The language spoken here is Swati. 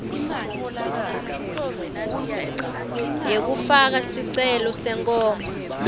yekufaka sicelo senkhomba